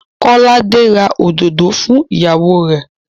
Kọ́láde ra òdòdó fún ìyàwó rẹ̀.